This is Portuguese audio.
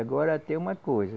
Agora tem uma coisa.